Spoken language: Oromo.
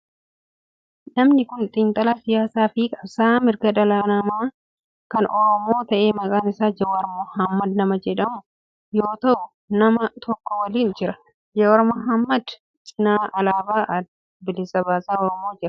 Namni kun xiinxalaa siyaasaa fi qabsa'aa mirga dhala oromoo kan ta'e maqaan isaa Jawaar Mohaammed nama jedhamu yoo ta'u nama tokko waliin jira. Jawaar Mohaammeed cinaa alaabaan adda bilisa baasaa oromoo jira.